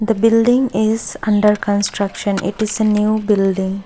the building is under construction it is a new building.